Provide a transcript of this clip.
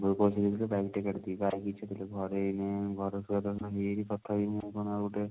ବଉ ପଇସା ଦେଇଥିଲେ bike ଟା କାଢିଦେବି ତାର ବି ଇଛା ଥିଲା ଘରେ ଘରେ ହେଇନି ତଥାପି